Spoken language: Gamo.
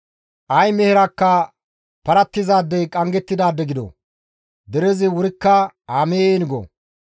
«Ay meherakka parattizaadey qanggettidaade gido!» Derezi wurikka, «Amiin!» go.